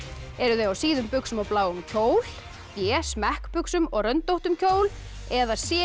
eru þau á síðum buxum og bláum kjól b smekkbuxum og röndóttum kjól eða c